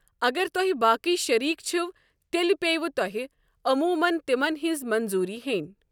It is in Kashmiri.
اگر تۄہہِ باقی شٔریٖک چھِو تیٚلہِ پٮ۪یَو تۄہہِ عموٗمَن تِمن ہٕنٛز منظوٗری ہیٛنۍ۔